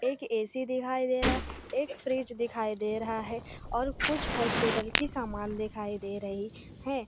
एक ए_सी दिखाई दे रहा है एक फ्रिज दिखाई दे रहा है और कुछ हॉस्पिटल की समान दिखाई दे रही हैं।